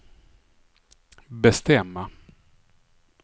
bestämma